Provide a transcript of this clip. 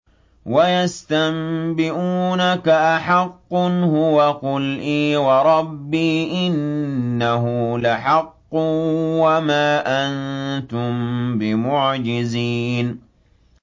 ۞ وَيَسْتَنبِئُونَكَ أَحَقٌّ هُوَ ۖ قُلْ إِي وَرَبِّي إِنَّهُ لَحَقٌّ ۖ وَمَا أَنتُم بِمُعْجِزِينَ